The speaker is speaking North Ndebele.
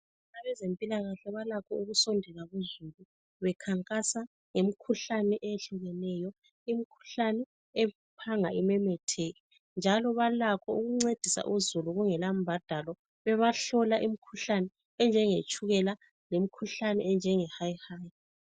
Abezempilakahle balakho ukusondela kuzulu. Bekhankasa ngemi khuhlane eyehlukeneyo. Imkhuhlane ephanga imemetheke. Njalo balakho ukuncedisa uzulu kungela mbadalo. Bebahlola imkhuhlane enjenge tshukela lemkhuhlane enjenge hayihang